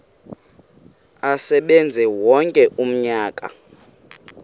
asebenze wonke umnyaka